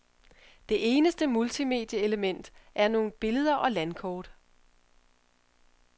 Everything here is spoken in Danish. Det eneste multimedieelement er nogle billeder og landkort.